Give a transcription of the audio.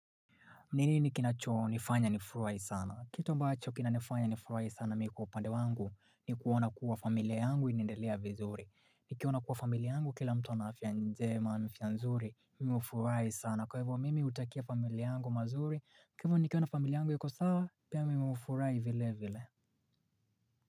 Ni nini kina chonifanya nifurahi sana? Kitu ambacho kinanifanya nifurahi sana mi kwa upande wangu ni kuona kuwa familia yangu inaendelea vizuri. Nikiona kuwa familia yangu kila mtu ana afya njema na afya nzuri. Mimi hufurahi sana. Kwa hivyo mimi utakia familia yangu mazuri. Kwa hivyo nikiona familia yangu iko sawa, pia mimi hufurahi vile vile.